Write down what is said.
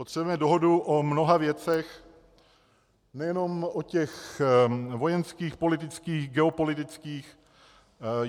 Potřebujeme dohodu o mnoha věcech, nejenom o těch vojenských, politických, geopolitických.